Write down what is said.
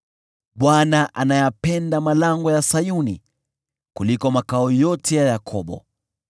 Bwana anayapenda malango ya Sayuni kuliko makao yote ya Yakobo.